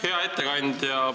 Hea ettekandja!